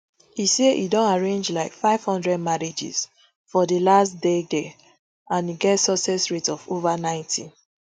e say e don arrange like five hundred marriages for di last deade an get success rate of ova ninety